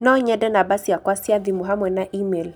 No nyende namba ciakwa cia thimũ hamwe na e-mail